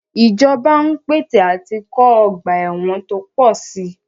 Ìjọba ń pète àti kọ́ ọ̀gba ẹ̀wọn tó pọ̀ sí i.